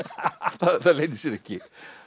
það leynir sér ekki